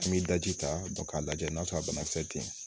An bɛ daji ta k'a lajɛ n'a sɔrɔ a banakisɛ tɛ yen